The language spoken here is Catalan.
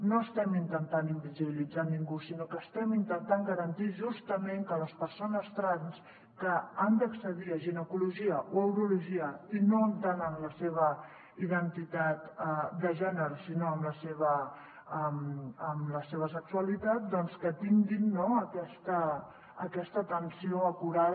no estem intentant invisibilitzar ningú sinó que estem intentant garantir justament que les persones trans que han d’accedir a ginecologia o a urologia i no entrant en la seva identitat de gènere sinó en la seva sexualitat doncs tinguin aquesta atenció acurada